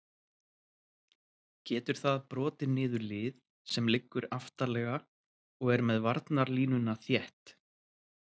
Getur það brotið niður lið sem liggur aftarlega og er með varnarlínuna þétt?